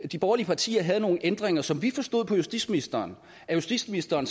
de borgerlige partier havde nogle ændringer som vi forstod på justitsministeren at justitsministeren